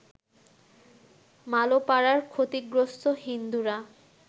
মালোপাড়ার ক্ষতিগ্রস্ত হিন্দুরা